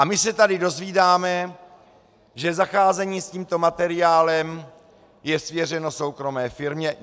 A my se tady dozvídáme, že zacházení s tímto materiálem je svěřeno soukromé firmě.